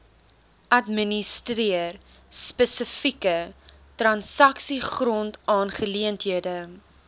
administreer spesifieke transaksiegrondaangeleenthede